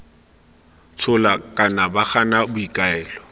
tshola kana ba gana boikuelo